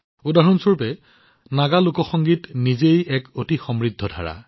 উদাহৰণ স্বৰূপে নাগা লোক সংগীত নিজেই এক অতি সমৃদ্ধ ধাৰা